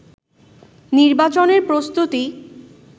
নির্বাচনের প্রস্তুতি